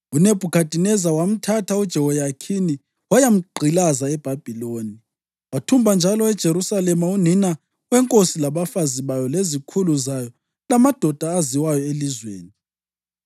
UNebhukhadineza wamthatha uJehoyakhini wayamgqilaza eBhabhiloni. Wathumba njalo eJerusalema unina wenkosi labafazi bayo lezikhulu zayo lamadoda aziwayo elizweni.